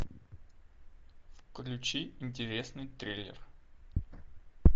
включи интересный трейлер